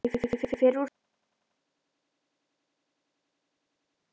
Ég fer úr peysunni.